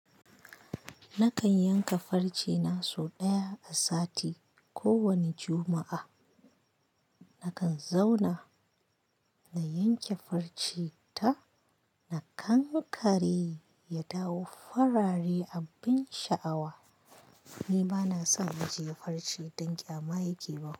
Nakan yanka farce na sau ɗaya a sati, kowane Juma'a. Nakan zauna na yanke farce ta, na kankare ya dawo farare abin sha'awa. Ni bana son ajiye farce don ƙyama ya ke ban.